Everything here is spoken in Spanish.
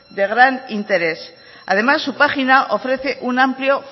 de gran interés además su página ofrece un amplio